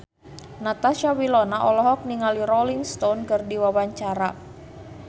Natasha Wilona olohok ningali Rolling Stone keur diwawancara